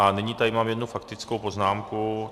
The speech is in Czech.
A nyní tady mám jednu faktickou poznámku.